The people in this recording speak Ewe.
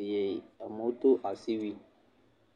eye amewo do asiwuie.